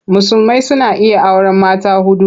Musulmai suna iya auren mata huɗu.